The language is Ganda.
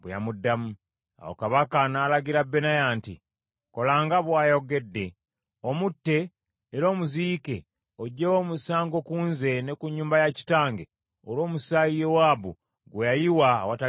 Awo kabaka n’alagira Benaya nti, “Kola nga bw’ayogedde, omutte era omuziike oggyewo omusango ku nze ne ku nnyumba ya kitange olw’omusaayi Yowaabu gwe yayiwa awatali nsonga.